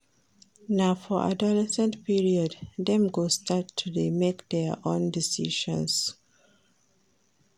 Na for adolescence period dem go start to dey make their own decisions